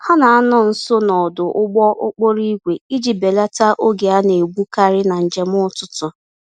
Ha na-anọ nso n'ọdụ ụgbọ-okporo-ígwè iji belata oge a naegbu karị na njem ụtụtụ